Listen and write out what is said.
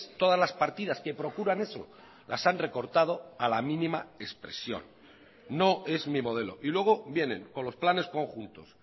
todas las partidas que procuran eso las han recortado a la mínima expresión no es mi modelo y luego vienen con los planes conjuntos